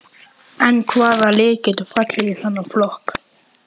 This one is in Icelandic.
En hvaða lið geta fallið í þennan flokk?